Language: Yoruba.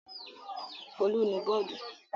Folú nu bọ́ọ́dù!